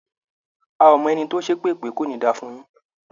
A ò mọ ẹni tó ṣépè pé "kò ní da fún un yín".